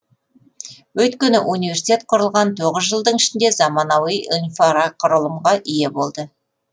өйткені университет құрылған тоғыз жылдың ішінде заманауи инфрақұрылымға ие болды